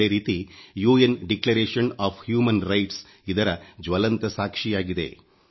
ಅದೇ ರೀತಿ ವಿಶ್ವಸಂಸ್ಥೆಯ ಮಾನವ ಹಕ್ಕು ಘೋಷಣೆ ಇದರ ಜ್ವಲಂತ ಸಾಕ್ಷಿಯಾಗಿದೆ